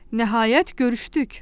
Nəhayət görüşdük.